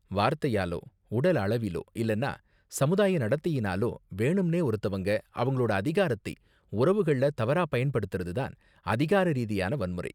வார்த்தையாலோ, உடலளவிலோ இல்லனா சமுதாய நடத்தையினாலோ வேணும்னே ஒருத்தவங்க அவங்களோட அதிகாரத்தை உறவுகள்ல தவறாக பயன்படுத்துறது தான் அதிகார ரீதியான வன்முறை.